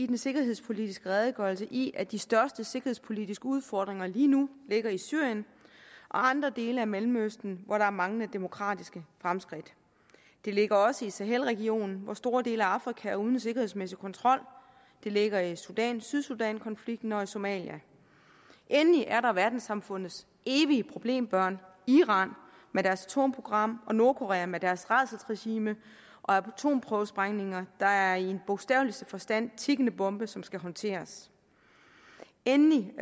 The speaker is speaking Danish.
den sikkerhedspolitiske redegørelse i at de største sikkerhedspolitiske udfordringer lige nu ligger i syrien og andre dele af mellemøsten hvor der er manglende demokratiske fremskridt de ligger også i sahelregionen hvor store dele af afrika er uden sikkerhedsmæssig kontrol de ligger i sudan sydsudankonflikten og i somalia endelig er der verdenssamfundets evige problembørn iran med deres atomprogram og nordkorea med deres rædselsregime og atomprøvesprængninger der i bogstaveligste forstand tikkende bombe som skal håndteres endelig